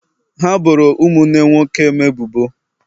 ha boro ụmụnne nwoke m ebubo.